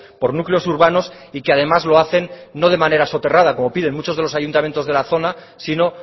por núcleos urbanos y que además lo hacen no de manera soterrada como piden muchos de los ayuntamientos de la zona sino